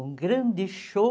Um grande show